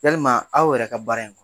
Yalima aw yɛrɛ ka baara in